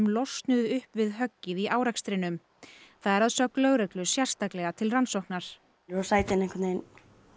losnuðu upp við höggið í árekstrinum það er að sögn lögreglu sérstaklega til rannsóknar sætin einhvern veginn